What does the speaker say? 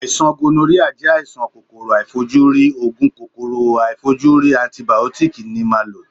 Àìsàn gonoríà jẹ́ àìsàn kòkòrò aàìfojúrí, Ògùn kòkòrò aàìfojúrí antìbìótíkì ni màá lò.